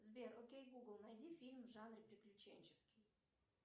сбер окей гугл найди фильм в жанре приключенческий